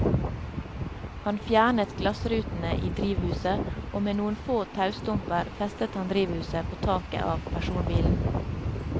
Han fjernet glassrutene i drivhuset, og med noen få taustumper festet han drivhuset på taket av personbilen.